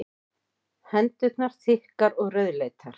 Hendurnar þykkar og rauðleitar.